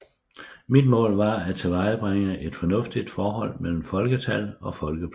Mit mål var at tilvejebringe et fornuftigt forhold mellem folketal og folkeplads